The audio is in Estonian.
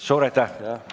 Suur aitäh!